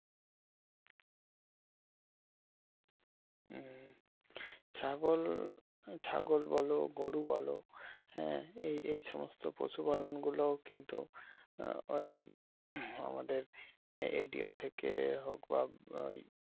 হম ছাগল বলো গরু বলো হ্যাঁ এই সমস্ত পশু পালন গুলো কিন্তু ওই আমাদের এডিও থেকে হোক বা